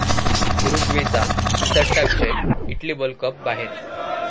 उरुग्वेचा निसटता विजय, Italy world cup बाहेर